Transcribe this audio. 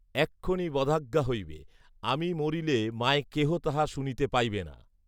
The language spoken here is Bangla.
এক্ষণই বধাজ্ঞা হইবে আমি মরিলে মায় কেহ তাহ শুনিতে পাইবে না